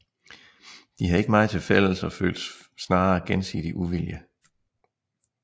De havde ikke meget til fælles og følte snarere gensidig uvilje